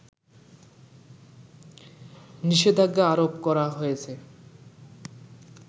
নিষেধাজ্ঞা আরোপ করা হয়েছে